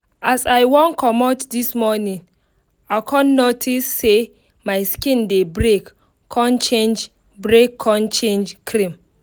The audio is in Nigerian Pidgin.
as i wan commot this morning i con notice say my skin dey break con change break con change cream.